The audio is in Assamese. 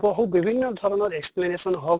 হু বিভিন্ন ধৰণৰ explanation হওঁক